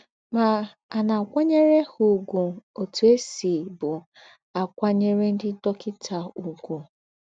Mà, à ná-àkwányèrè ha ùgwù ótù è sìbu àkwányèrè ńdị́ dọ́kịtà ùgwù?